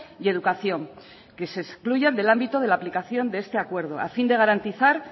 y educación que se excluyan del ámbito de la aplicación de este acuerdo a fin de garantizar